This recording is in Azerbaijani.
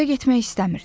Evə getmək istəmirdi.